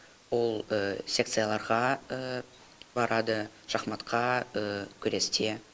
ол секцияларға барады шахматқа күресте